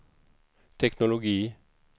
teknologi